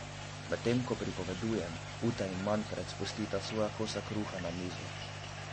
Medtem ko pripovedujem, Ute in Manfred spustita svoja kosa kruha na mizo.